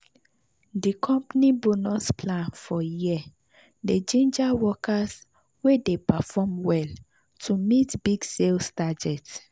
the company bonus plan for year dey ginger workers wey dey perform well to meet big sales target.